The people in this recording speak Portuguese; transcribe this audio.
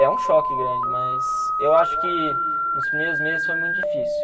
É um choque grande, mas eu acho que nos primeiros meses foi muito difícil.